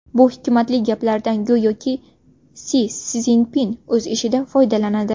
Bu hikmatli gaplardan go‘yoki Si Szinpin o‘z ishida foydalanadi.